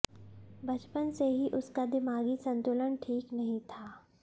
बचपन से ही उसका दिमागी संतुलन ठीक नहीं था